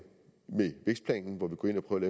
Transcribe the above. på et